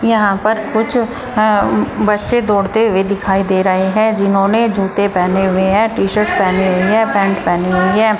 यहाँ पर कुछ अ बच्चे दौड़ते हुए दिखाई दे रहे हैं जिन्होंने जूते पहने हुए हैं टी शर्ट पहनी हुई है पैंट पहनी हुई है।